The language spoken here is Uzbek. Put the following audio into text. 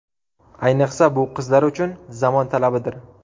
Ayniqsa, bu qizlar uchun zamon talabidir.